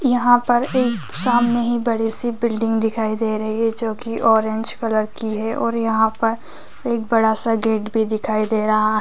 यहाँ पर एक सामने ही बड़ी सी बिल्डिंग दिखाई दे रही है जो की ऑरेंज कलर की है और यहाँ पर एक बड़ा सा गेट भी दिखाई दे रहा --